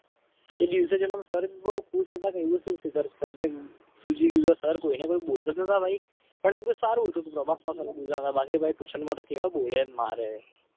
એ દિવસે જણાવો. ઝી કોતર કોઈને કોઈ બોલતા. બોલે મારે.